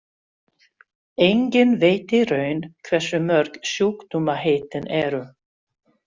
Enginn veit í raun hversu mörg sjúkdómaheitin eru.